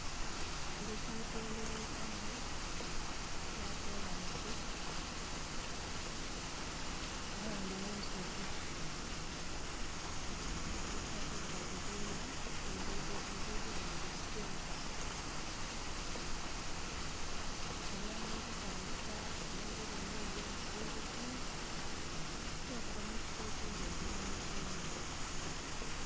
Oluguudo olweghetamu olwa kolansi kuba luli mu nsozi ekitasoboka kuzimba luguudo nga luli sitweiti. Lutuyamba okutambuza eby'obulime eby'obusubuzi nh'okuva mu kifo ekindhi okwidha mu kindhi.